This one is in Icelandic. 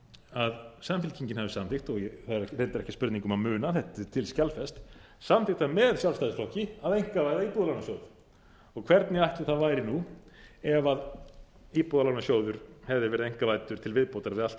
að samfylkingin hafi samþykkt og þetta er ekki spurning um að muna þetta er til skjalfest samþykkt það með sjálfstæðisflokki að einkavæða íbúðalánasjóð hvernig ætli það væri nú ef íbúðalánasjóður hefði verið einkavæddur til viðbótar við allt